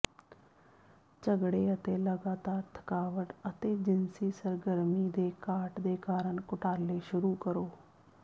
ਝਗੜੇ ਅਤੇ ਲਗਾਤਾਰ ਥਕਾਵਟ ਅਤੇ ਜਿਨਸੀ ਸਰਗਰਮੀ ਦੇ ਘਾਟ ਦੇ ਕਾਰਨ ਘੁਟਾਲੇ ਸ਼ੁਰੂ ਕਰੋ